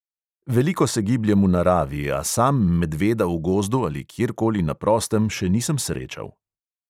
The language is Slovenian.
Veliko se gibljem v naravi, a sam medveda v gozdu ali kjerkoli na prostem še nisem srečal.